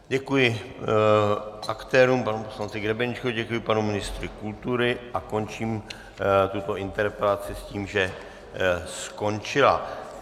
Děkuji aktérům, panu poslanci Grebeníčkovi, děkuji panu ministru kultury a končím tuto interpelaci s tím, že skončila.